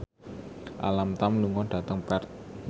Alam Tam lunga dhateng Perth